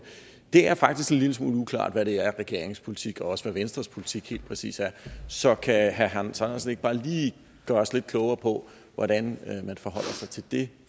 er faktisk en lille smule uklart hvad det er regeringens politik og også hvad venstres politik helt præcis er så kan herre hans andersen ikke bare lige gøre os lidt klogere på hvordan man forholder sig til det